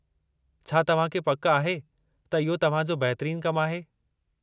छा तव्हां खे पकि आहे त इहो तव्हां जो बहितरीनु कमु आहे?